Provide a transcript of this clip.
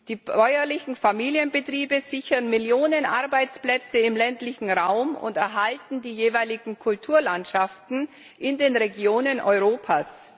Die bäuerlichen Familienbetriebe sichern Millionen Arbeitsplätze im ländlichen Raum und erhalten die jeweiligen Kulturlandschaften in den Regionen Europas.